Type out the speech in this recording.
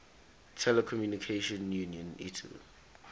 telecommunication union itu